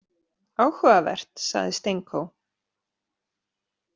Áhugavert, sagði Stenko.